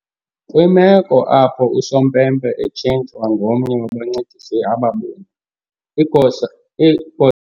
Kwimeko apho usompempe etshintshwa ngomnye wabancedisi ababini, igosa